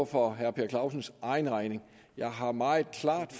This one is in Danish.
for herre per clausens egen regning jeg har meget klart